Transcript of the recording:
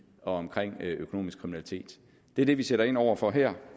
og omkring økonomisk kriminalitet det er det vi sætter ind over for her